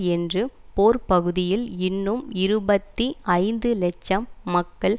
என்று போர்ப்பகுதியில் இன்னும் இருபத்தி ஐந்து லட்சம் மக்கள்